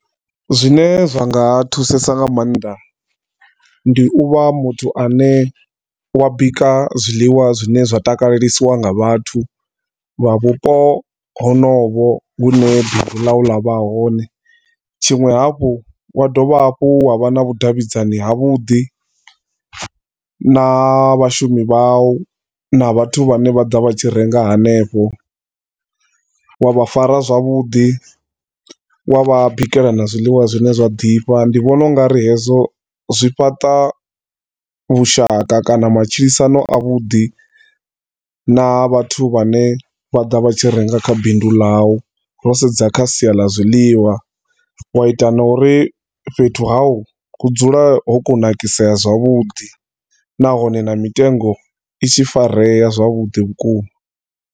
Zwine zwa nga thusesa nga maanḓa ndi u vha muthu ane u a bika zwiḽiwa zwine zwa takalelisiwa nga vhathu vha vhupo honovho vhune bindu ḽa u vha hone tshiṅwe hafhu wa dovha hafhu wa vha na vhudavhidzani havhuḓi na vhashumi vha u na vhathu vhane vha ḓa vha tshi renga hanefho wa vha fara zwavhuḓi wa vha bikela na zwiḽiwa zwine zwa ḓifha. Ndi vhona ungari hezwo zwi fhaṱa vhushaka kana matshilisano a vhuḓi na vhathu vhane vha ḓa vha tshi renga kha bindu ḽau ro sedza kha sia ḽa zwiḽiwa, u a ita na uri fhethu ha u hu dzule ho kunakisea zwavhuḓi nahone na mitengo i tshi farea zwavhuḓi vhukuma.